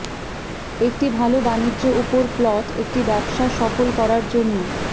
একটি ভাল বাণিজ্য উপর প্লট একটি ব্যবসা সফল করার জন্য